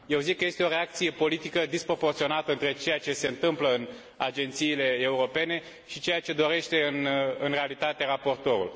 Eu zic că este o reacție politică disproporționată între ceea ce se întâmplă în agențiile europene și ceea ce dorește în realitate raportorul.